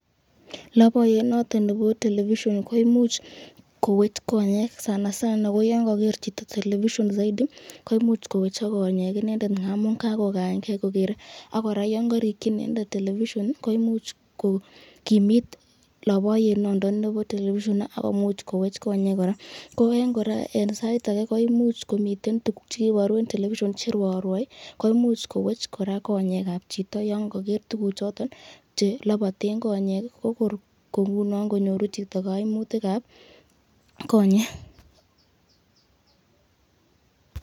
Loboyet noton nebo television koimuch kowech konyek sana sana koyon koker chito television saidi koimuch kowechok konyek en inendet amun kakokaeng'e kokere ak kora yoon korikyi inendet television komuch kokimit loboyet noton nebo television ak komuch kowech konyek kora, ko en sait akee ko imuch komiten tukuk chekiboru en television cherwoiorwoi koimuch kowech kora konyekab chito yoon koker tukuchoton cheloboten konyek ko kor kong'unon konyoru chito kaimutikab konyek.